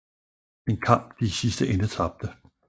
En kamp de i sidste ende tabte